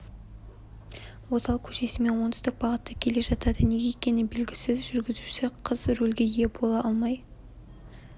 озал көшесімен оңтүстік бағытта келе жатады неге екені белгісіз жүргізуші қыз рөлге ие бола алмай